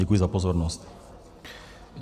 Děkuji za pozornost.